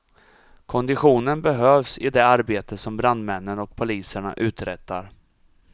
Konditionen behövs i det arbete som brandmännen och poliserna uträttar.